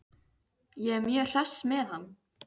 Ég er mjög hress með hann.